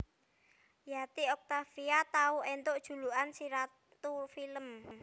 Yati Octavia tau éntuk julukan si ratu film